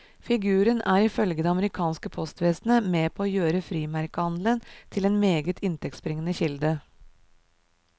Figuren er ifølge det amerikanske postvesenet med på å gjøre frimerkehandelen til en meget inntektsbringende kilde.